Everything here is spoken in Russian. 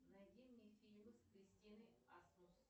найди мне фильмы с кристиной асмус